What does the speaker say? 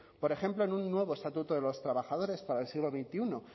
por ejemplo en un nuevo estatuto de los trabajadores para el siglo veintiuno